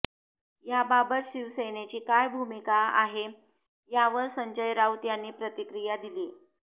याबाबत शिवसेनेची काय भूमिका आहे यावर संजय राऊत यांनी प्रतिक्रिया दिलीये